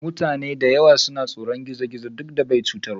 Mutane da yawa suna tsoron gizo-gizo duk da bai chutarwa.